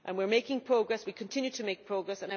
We are making progress, we continue to make progress.